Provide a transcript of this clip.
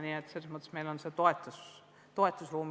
Nii et selles mõttes meil on toetust täna rohkem.